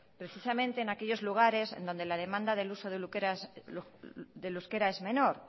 precisamente en aquellos lugares en donde la demanda del uso del euskera es menor